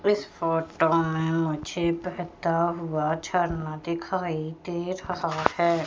इस फोटो में मुझे बहता हुआ झरना दिखाई दे रहा है।